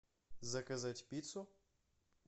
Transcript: заказать пиццу